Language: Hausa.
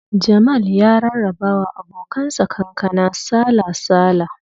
Jamal ya rarraba wa abokan sa kankana sala-sala